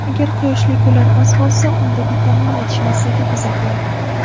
Agar quyoshli kunlar oz bo‘lsa, unda vitamin yetishmasligi kuzatiladi.